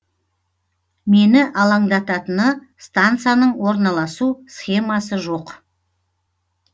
мені алаңдататыны стансаның орналасу схемасы жоқ